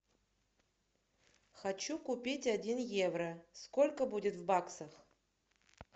хочу купить один евро сколько будет в баксах